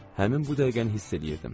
Həmin bu dəqiqəni hiss eləyirdim.